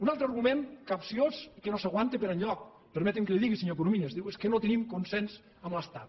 un altre argument capciós que no s’aguanta per enlloc permeti’m que li ho digui senyor corominas diu és que no tenim consens amb l’estat